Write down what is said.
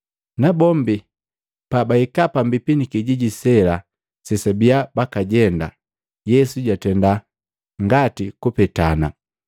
Nabombi pabahika pambipi ni kijiji sela sebabia bakajenda, Yesu jatenda ngati kupetana,